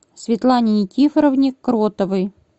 светлане никифоровне кротовой